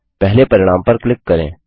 पहले परिणाम पर क्लिक करें